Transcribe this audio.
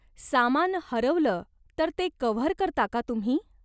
सामान हरवलं तर ते कव्हर करता का तुम्ही?